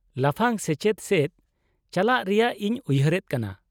-ᱞᱟᱯᱷᱟᱝ ᱥᱮᱪᱮᱫ ᱥᱮᱪ ᱪᱟᱞᱟᱜ ᱨᱮᱭᱟᱜ ᱤᱧ ᱩᱭᱦᱟᱹᱨᱮᱫ ᱠᱟᱱᱟ ᱾